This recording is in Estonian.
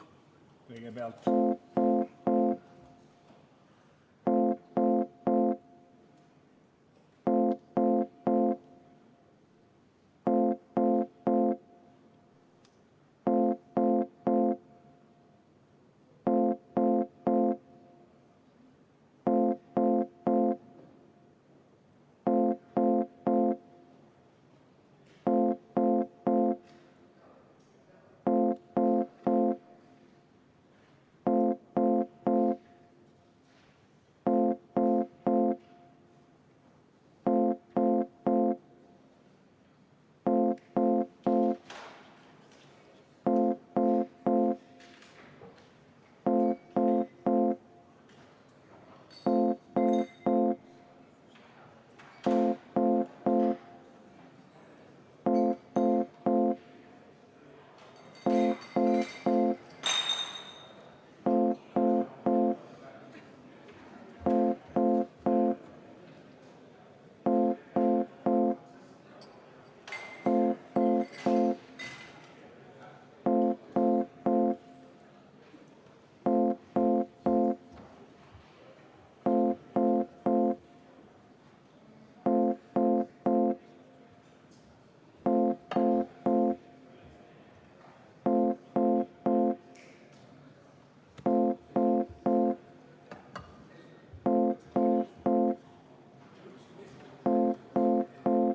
Kõigepealt kutsung.